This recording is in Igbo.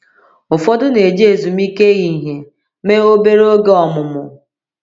Ụfọdụ na-eji ezumike ehihie mee obere oge ọmụmụ.